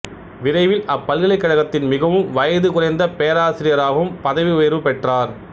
விரைவில் அப்பல்கலைக்கழக்கத்தின் மிகவும் வயது குறைந்த பேராசிராயாகவும் பதவி உயர்வு பெற்றார்